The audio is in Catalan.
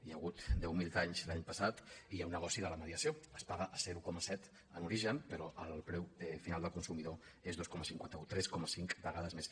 hi ha hagut deu mil guanys l’any passat i hi ha un negoci de la mediació es paga a zero coma set en origen però el preu final del consumidor és dos coma cinquanta un tres coma cinc vegades més